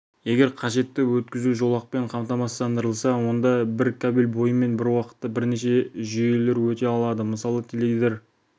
егер қажетті өткізу жолақпен қамтамасыздандырылса онда бір кабель бойымен бір уақытта бірнеше жүйелер өте алады мысалы теледидар